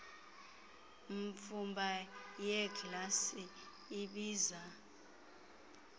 mfumba yeeglasi ibiza